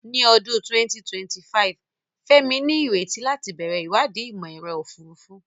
Ní ọdún 2025, Femi ní ìrètí láti bẹ̀rẹ̀ ìwádìí Ìmọ̀-ẹ̀rọ Òfurufú.